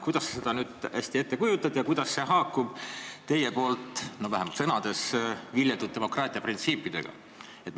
Kuidas sa seda nüüd ette kujutad ja kuidas see haakub teie poolt vähemalt sõnades tunnustatud demokraatia printsiipidega?